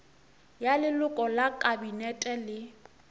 ya leloko la kabinete le